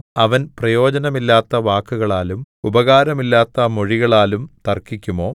അവൻ പ്രയോജനമില്ലാത്ത വാക്കുകളാലും ഉപകാരമില്ലാത്ത മൊഴികളാലും തർക്കിക്കുമോ